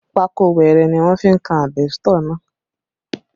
Pákó wẹrẹ ni wọ́n fi kan àbẹ́sítọ̀ náà